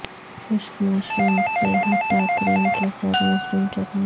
خشک مشروم سے ھٹا کریم کے ساتھ مشروم چٹنی